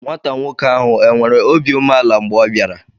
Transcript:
Nwata nwoke ahụ enwere obi umeala mgbe ọ bịara?